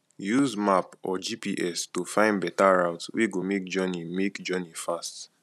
use map or gps to find better route wey go make journey make journey fast